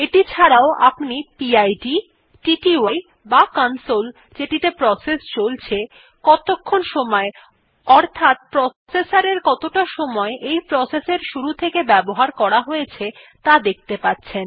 এটি ছাড়াও আপনি পিড টিটিআই বা কনসোল যেটিতে প্রসেস চলছে কতক্ষণ সময় অর্থাৎ প্রসেসর কতটা সময় এই প্রসেস এর শুরু থেকে ব্যবহার করা হয়েছে ত়া দেখতে পাচ্ছেন